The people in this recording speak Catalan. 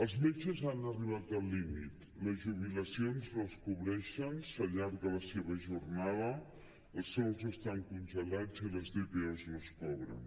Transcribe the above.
els metges han arribat al límit les jubilacions no es cobreixen s’allarga la seva jornada els sous estan congelats i les dpo no es cobren